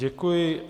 Děkuji.